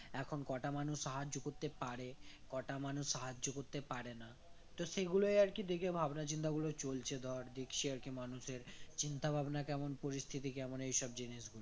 এখন কটা মানুষ সাহায্য করতে পারে কটা মানুষ সাহায্য করতে পারে না তো সেগুলোই আরকি দেখে ভাবনা চিন্তা গুলো চলছে ধর দেখছি আর কি মানুষের চিন্তা ভাবনা কেমন পরিস্থিতি কেমন এইসব জিনিসগুলোই